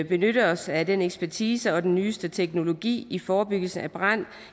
benytte os af den ekspertise og af den nyeste teknologi i forebyggelse af brand